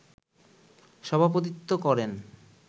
সভাপতিত্ত্ব করেন